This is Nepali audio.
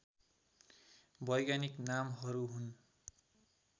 वैज्ञानिक नामहरू हुन्